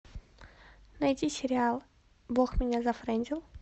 найти сериал бог меня зафрендил